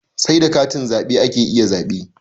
Sai da katin zaɓe ake iya zaɓe.